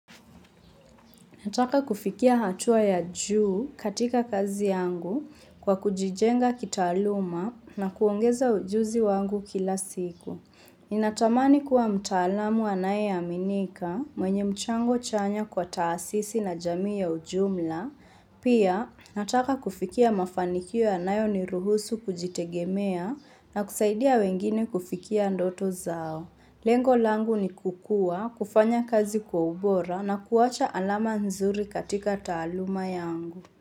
Nataka kufikia hatua ya juu katika kazi yangu kwa kujijenga kitaaluma na kuongeza ujuzi wangu kila siku. Ninatamani kuwa mtaalamu anayeaminika mwenye mchango chanya kwa taasisi na jamii ya ujumla. Pia nataka kufikia mafanikio yanayoniruhusu kujitegemea na kusaidia wengine kufikia ndoto zao. Lengo langu ni kukua, kufanya kazi kwa ubora na kuwacha alama nzuri katika taaluma yangu.